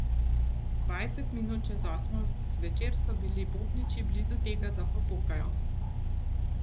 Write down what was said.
Dvajset minut čez osmo zvečer so bili bobniči blizu tega, da popokajo.